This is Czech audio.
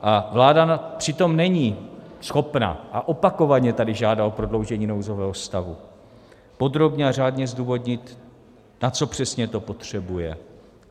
A vláda přitom není schopna - a opakovaně tady žádá o prodloužení nouzového stavu - podrobně a řádně zdůvodnit, na co přesně to potřebuje.